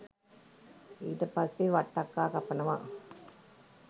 ඊට පස්සේ වට්ටක්කා කපනවා